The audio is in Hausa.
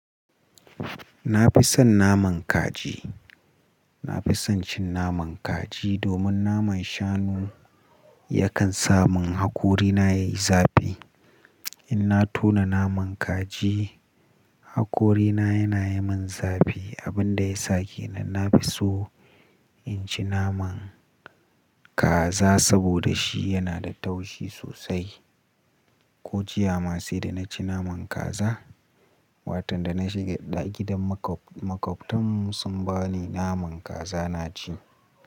Na fi son naman kaji. Na fi son cin naman kaji domin naman shanu yakan sa mun hakorina yayi zafi. In na tona naman kaji hakorina yana yi min zafi abin da ya sake nan na fi so in ci naman kaza saboda shi yana da taushi sosai. Ko jiya ma sai da na ci naman kaza, watan da na shiga gidan maƙwabtan mu sun ba ni naman kaza na ci.